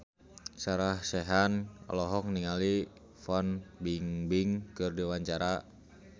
Sarah Sechan olohok ningali Fan Bingbing keur diwawancara